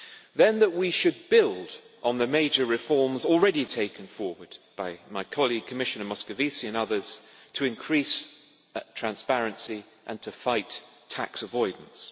Then, that we should build on the major reforms already taken forward by my colleague Commissioner Moscovici and others to increase transparency and to fight tax avoidance.